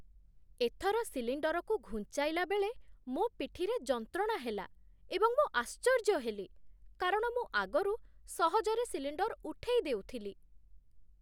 ଏଥର ସିଲିଣ୍ଡରକୁ ଘୁଞ୍ଚାଇଲା ବେଳେ ମୋ ପିଠିରେ ଯନ୍ତ୍ରଣା ହେଲା, ଏବଂ ମୁଁ ଆଶ୍ଚର୍ଯ୍ୟ ହେଲି, କାରଣ ମୁଁ ଆଗରୁ ସହଜରେ ସିଲିଣ୍ଡର ଉଠେଇ ଦେଉଥିଲି।